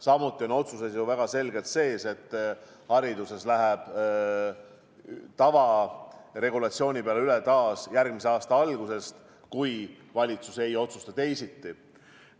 Samuti on otsuses ju väga selgelt sees, et haridus läheb taas tavaregulatsiooni peale üle järgmise aasta algusest, kui valitsus vahepeal ei otsusta teisiti.